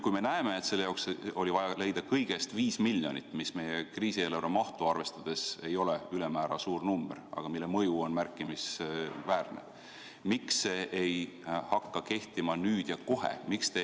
Kui me teame, et selle jaoks oli vaja leida kõigest 5 miljonit, mis meie kriisieelarve mahtu arvestades ei ole ülemäära suur number, aga selle mõju on märkimisväärne, siis miks see ei hakka kehtima nüüd ja kohe?